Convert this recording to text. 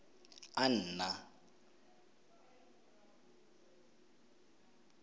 anna